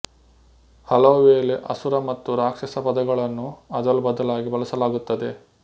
ಹಲವುವೇಳೆ ಅಸುರ ಮತ್ತು ರಾಕ್ಷಸ ಪದಗಳನ್ನು ಅದಲು ಬದಲಾಗಿ ಬಳಸಲಾಗುತ್ತದೆ